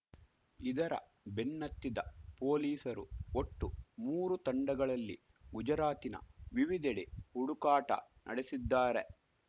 ಇದರ ಬೆನ್ನತ್ತಿದ ಪೊಲೀಸರು ಒಟ್ಟು ಮೂರು ತಂಡಗಳಲ್ಲಿ ಗುಜರಾತಿನ ವಿವಿದೆಡೆ ಹುಡುಕಾಟ ನಡೆಸಿದ್ದಾರೆ